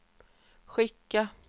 skicka